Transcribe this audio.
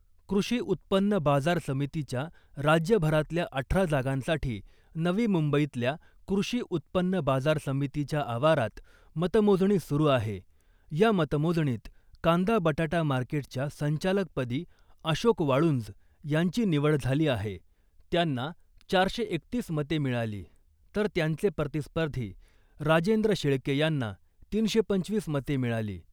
कृषी उत्पन्न बाजार समितीच्या राज्यभरातल्या अठरा जागांसाठी नवी मुंबईतल्या कृषी उत्पन्न बाजार समितीच्या आवारात मतमोजणी सुरू आहे. या मतमोजणीत कांदा बटाटा मार्केटच्या संचालकपदी अशोक वाळुंज यांची निवड झाली आहे. त्यांना चारशे एकतीस मते मिळाली , तर त्यांचे प्रतिस्पर्धी राजेंद्र शेळके यांना तीनशे पंचवीस मते मिळाली .